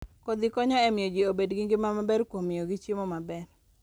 Kodhi konyo e miyo ji obed gi ngima maber kuom miyogi chiemo maber.